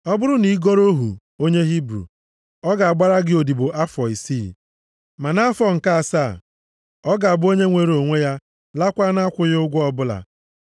“Ọ bụrụ na ị goro ohu onye Hibru, ọ ga-agbara gị odibo afọ isii. Ma nʼafọ nke asaa, ọ ga-abụ onye nwere onwe ya laakwa nʼakwụghị ụgwọ ọbụla.